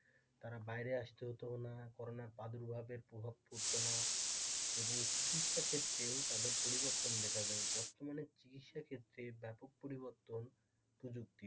তাদের বাইরে আসতে হতো না করোনার প্রাদুর্ভাবে প্রভাব পড়তো না এবং চিকিৎসাক্ষেত্রে ও তাদের পরিবর্তন দেখা যায় বর্তমানে চিকিৎসা ক্ষেত্রে ব্যাপক পরিবর্তন প্রযুক্তির,